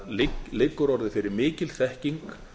það liggur orðið fyrir mikil þekking